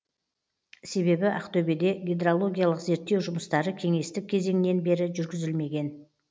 себебі ақтөбеде гидрологиялық зерттеу жұмыстары кеңестік кезеңнен бері жүргізілмеген